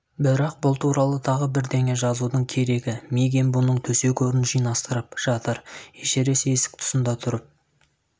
бірақ бұл туралы тағы бірдеңе жазудың керегі мигэн бұның төсек-орнын жинастырып жатыр эшерест есік тұсында тұрып